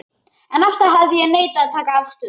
En alltaf hafði ég neitað að taka afstöðu.